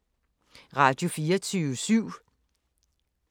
Radio24syv